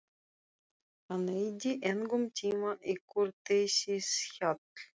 Hann eyddi engum tíma í kurteisishjal.